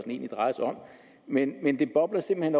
egentlig drejer sig om men det bobler simpelt